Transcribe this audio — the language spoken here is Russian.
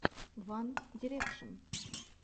ван дирекшен